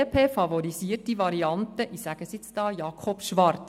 Die BDP favorisiert die Variante mit – ich sage es jetzt hier – Jakob Schwarz.